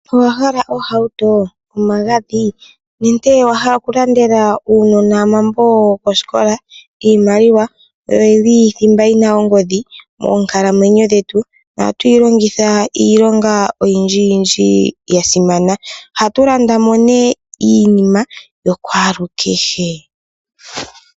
Owa hala ohauto, omagadhi nenge owa hala okulandela uunona omambo gokosikola? Iimaliwa oyili thimba yina ongodhi moonkalamwenyo dhetu. Ohatu yi longitha iilonga oyindji yindji ya simana. Ohatu landa mo nee iinima yakwalukehe.